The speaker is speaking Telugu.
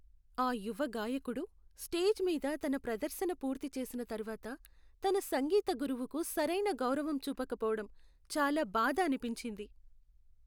ఆ యువ గాయకుడు, స్టేజ్ మీద తన ప్రదర్శన పూర్తి చేసిన తర్వాత తన సంగీత గురువుకు సరైన గౌరవం చూపకపోవడం, చాలా బాధ అనిపించింది.